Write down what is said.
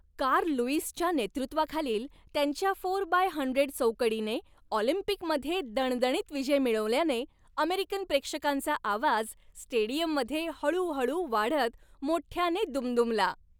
Carl लुईसच्या नेतृत्वाखालील त्यांच्या फोर बाय हंड्रेड चौकडीने ऑलिम्पिकमध्ये दणदणीत विजय मिळवल्याने अमेरिकन प्रेक्षकांचा आवाज स्टेडियममध्ये हळू हळू वाढत मोठ्याने दुमदुमला.